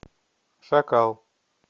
шакал